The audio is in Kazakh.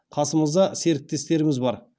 қасымызда серіктестеріміз бар